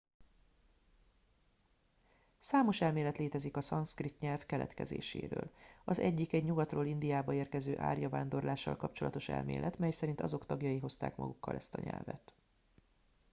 számos elmélet létezik a szanszkrit nyelv keletkezéséről az egyik egy nyugatról indiába érkező árja vándorlással kapcsolatos elmélet mely szerint azok tagjai hozták magukkal ezt a nyelvet